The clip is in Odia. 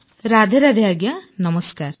ରାଧେ ନମସ୍କାର